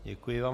Děkuji vám.